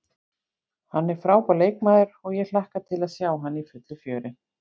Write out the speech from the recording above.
Hann er frábær leikmaður og ég hlakka til að sjá hann í fullu fjöri.